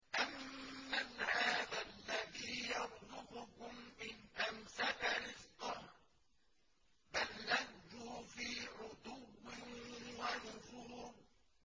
أَمَّنْ هَٰذَا الَّذِي يَرْزُقُكُمْ إِنْ أَمْسَكَ رِزْقَهُ ۚ بَل لَّجُّوا فِي عُتُوٍّ وَنُفُورٍ